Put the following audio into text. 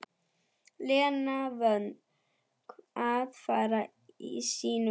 Lena vön að fara sínu fram.